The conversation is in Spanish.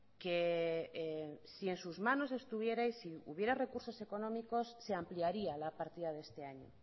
que si en sus manos estuviera y si hubiera recursos económicos se ampliaría la partida de este año